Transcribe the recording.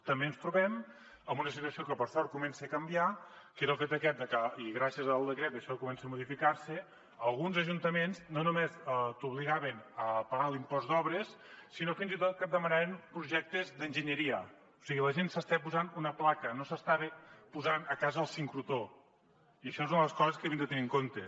també ens trobem amb una situació que per sort comença a canviar que era el fet aquest de que i gràcies al decret això comença a modificar se alguns ajuntaments no només t’obligaven a pagar l’impost d’obres sinó que fins i tot et demanaven projectes d’enginyeria o sigui la gent s’estava posant una placa no s’estava posant a casa el sincrotró i això és una de les coses que havíem de tenir en compte